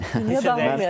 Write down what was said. Bir də nə olacaq?